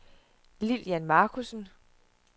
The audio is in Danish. Lilian Markussen